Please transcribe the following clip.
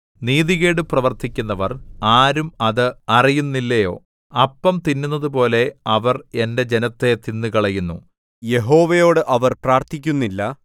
നീതികേട് പ്രവർത്തിക്കുന്നവർ ആരും അത് അറിയുന്നില്ലയോ അപ്പം തിന്നുന്നതുപോലെ അവർ എന്റെ ജനത്തെ തിന്നുകളയുന്നു യഹോവയോട് അവർ പ്രാർത്ഥിക്കുന്നില്ല